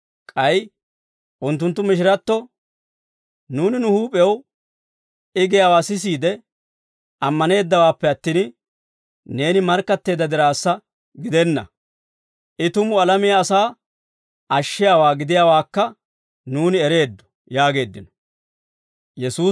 k'ay unttunttu mishiratto, «Nuuni nu huup'ew I giyaawaa sisiide ammaneeddawaappe attin, neeni markkatteedda diraassa gidenna; I tumu alamiyaa asaa ashshiyaawaa gidiyaawaakka nuuni ereeddo» yaageeddino.